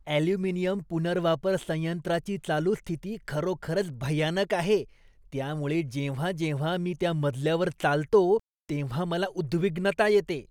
Aluminium पुनर्वापर संयंत्राची चालू स्थिती खरोखरच भयानक आहे, त्यामुळे जेव्हा जेव्हा मी त्या मजल्यावर चालतो तेव्हा मला उद्विग्नता येते.